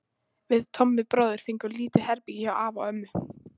Við Tommi bróðir fengum lítið herbergi hjá afa og ömmu.